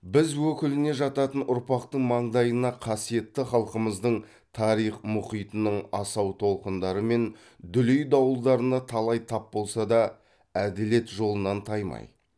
біз өкіліне жататын ұрпақтың маңдайына қасиетті халқымыздың тарих мұхитының асау толқындары мен дүлей дауылдарына талай тап болса да әділет жолынан таймай